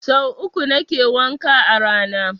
Sau uku nake wanka a rana